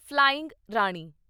flying Rani